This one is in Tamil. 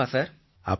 கண்டிப்பா சார்